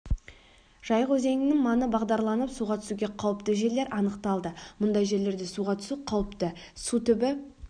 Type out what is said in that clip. жайық өзенінің маңы бағдарланып суға түсуге қауіпті жерлер анықталды мұндай жерлерде суға түсу қауіпті су түбі